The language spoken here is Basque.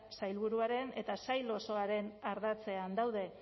sailburuaren eta sail osoaren ardatzean daude